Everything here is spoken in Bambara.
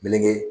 Meleke